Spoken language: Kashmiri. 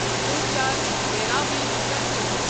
سلچر بھیرابی پسنجر